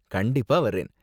கண்டிப்பா வர்றேன்.